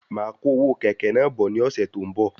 Máa kó owó kẹ̀kẹ́ náà bọ̀ ní ọsẹ tó n bọ